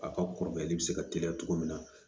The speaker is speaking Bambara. A ka kɔrɔbayali bɛ se ka teliya cogo min na